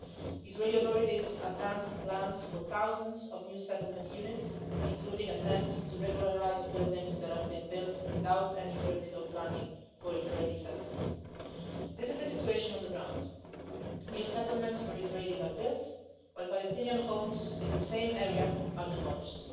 Israeli authorities have advanced plans for thousands of new settlement units, including attempts to regularise buildings that have been built without any permit or planning in Israeli settlements. This is the situation on the ground new settlements for Israelis are built, while Palestinian homes in the same area are demolished.